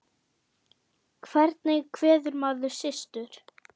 Hvernig kveður maður systur?